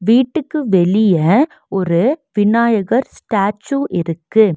வீட்டுக்கு வெளிய ஒரு விநாயகர் ஸ்டேச்சு இருக்கு.